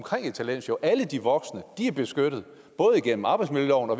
i et talentshow alle de voksne er beskyttet både igennem arbejdsmiljøloven og